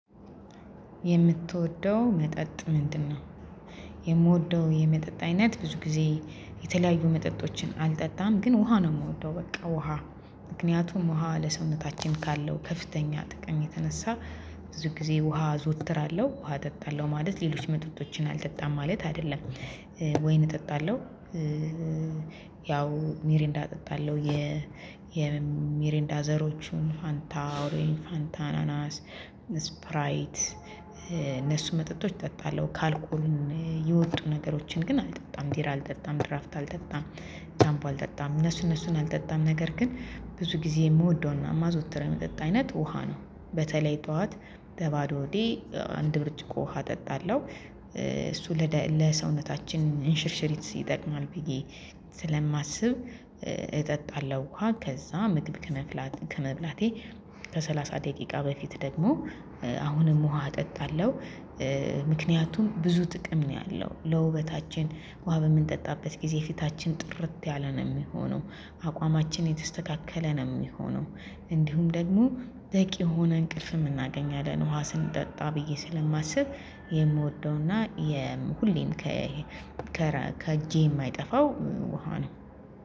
የምትወደው መጠጥ ምንድ ነው? የምወደው የመጠጥ አይነት ብዙ ጊዜ የተለያዩ መጠጦችን አልጠጣም ግን ውሃ ነው የምወደው በቃ ውሃ ምክንያቱም ውሃ ለሰውነታችን ካለው ከፍተኛ ጥቅም የተነሳ ብዙ ጊዜ ውሃ አዘወትራለሁ። ውሃ እጠጣለሁ ማለት ሌሎች መጠጦችን አልጠጣም ማለት አይደለም። ወይን እጠጣለሁ ያው ሚሪንዳ እጠጣለሁ የ የሚሪንዳ ዘሮቹን ፋንታ፥ ኦሪን፥ ፋንታ፥ አናናስ፥ ስፕራይት እነሱ መጠጦች እጠጣለሁ። ካልኩልን የወጡ ነገሮችን ግን አልጠጣም ቢራ አልጠጣም፤ ድራፍት አልጠጣም፤ ጃምቦ አልጠጣም እነሱ እነሱን አልጠጣም ነገር ግን ብዙ ጊዜ የምወደውና የማዘወትረው የመጠጥ አይነት ውሃ ነው። በተለይ ጠዋት በባዶ ሆዴ አንድ ብርጭቆ ውሃ እጠጣለሁ። እሱ ለሰውነታችን እንሽርሽሪት ይጠቅማል ብዬ ስለማስብ እጠጣለሁ ውሃ ከዛ ምግብ ከመብላቴ ከሰላሳ ደቂቃ በፊት ደግሞ አሁንም ውሃ እጠጣለሁ። ምክንያቱም ብዙ ጥቅም ነው ያለው ለውበታችን ውሃ በምንጠጣበት ጊዜ ፊታችን ጥርት ያለ ነው የሚሆነው አቋማችን የተስተካከለ ነው የሚሆነው እንዲሁም ደግሞ በቂ የሆነ እንቅልፍም እናገኛለን። ውሃ ስንጠጣ ብዬ ስለማስብ የምወደውና የሁሌም ከእጄ የማይጠፋው ውሃ ነው።